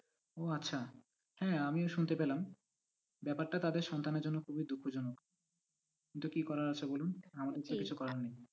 ও আচ্ছা হ্যাঁ আমিও শুনতে পেলাম ব্যাপারটা তাদের সন্তানের জন্য খুবই দুঃখজনক কিন্তু কি করার আছে বলুন আমাদের তো কিছু করার নেই।